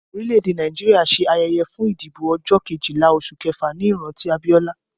Orílẹ̀ èdè Nàìjíríà ṣe ayẹyẹ fún ìdìbò ọjọ́ Kejìlá oṣù kẹfà ní ìrántí Abiola